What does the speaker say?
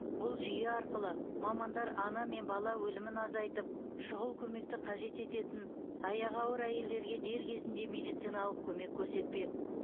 бұл жүйе арқылы мамандар ана мен бала өлімін азайтып шұғыл көмекті қажет ететін аяғы ауыр әйелдерге дер кезінде медициналық көмек көрсетпек